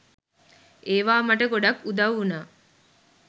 ඒවා මට ගොඩක් උදව් වුණා